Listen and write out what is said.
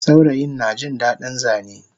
Saurayin najin dadin Zane